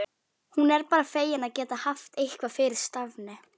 Hún er bara fegin að geta haft eitthvað fyrir stafni.